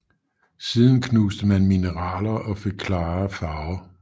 Siden knuste man mineraler og fik klarere farver